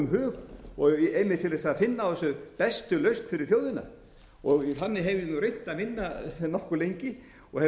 hug og einmitt til þess að finna á þessu bestu lausn fyrir þjóðina þannig hef ég nú reynt að vinna nokkuð lengi og hef